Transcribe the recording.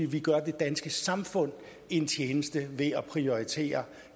vi gør det danske samfund en tjeneste ved at prioritere